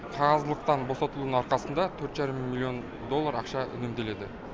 қағаздылықтан босатылуының арқасында төрт жарым миллион доллар ақша үнемделеді